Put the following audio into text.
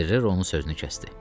Ferrero onun sözünü kəsdi.